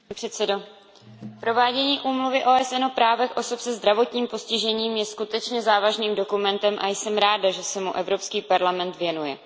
Pane předsedající, provádění Úmluvy OSN o právech osob se zdravotním postižením je skutečně závažným dokumentem a jsem ráda, že se mu Evropský parlament věnuje.